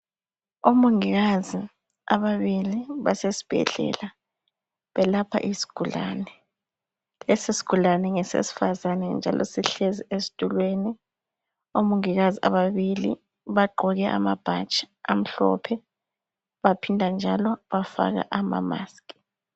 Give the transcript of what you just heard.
Omongikazi ababili basesibhedla belapha isigulane, lesi sigulane ngesesifazane njalo sihlezi esitulweni omongikazi ababili bagqoke amabhatshi amhlophe baphinda njalo bafaka amamask